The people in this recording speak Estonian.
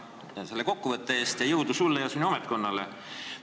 Tänan selle kokkuvõtte eest ning jõudu sulle ja sinu ametkonnale!